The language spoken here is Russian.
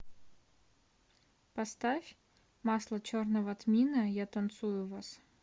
поставь масло черного тмина я танцую вас